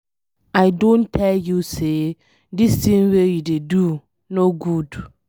I don tell you say dis thing wey you dey no good.